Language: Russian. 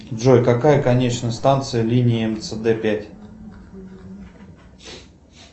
джой какая конечная станция линии мцд пять